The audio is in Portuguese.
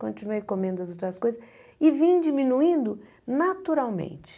Continuei comendo as outras coisas e vim diminuindo naturalmente.